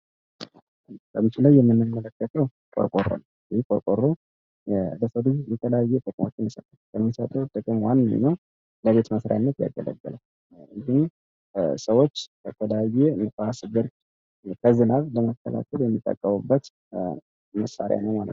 በምስሉ ላይ የምንመለከተው ቆርቆሮ ነው ይህ ቆርቆሮ የተለያየ ጥቅሞችን የሚሰጥ ሲሆን ከነዚህም ውስጥ ዋነኞቹ ለቤት መስሪያነት ያገለግላል ሰዎች ከተለያየ ንፋስ ብርድ ከዝናብ ለመከላከል የሚጠቀሙበት መሳሪያ ነው።